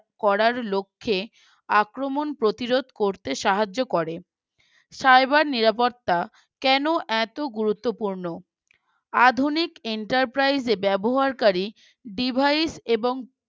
করার লক্ষ্যে আক্রমণ প্রতিরোধ করতে সাহায্য করে Cyber নিরাপত্তা কেন এত গুরুত্বপূর্ণ আধুনিক Enterprise এ ব্যবহারকারী Device এবং